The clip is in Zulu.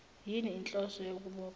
yini inhloso yokubopha